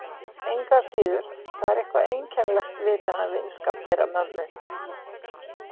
Engu að síður, það er eitthvað einkennilegt við þennan vinskap þeirra mömmu.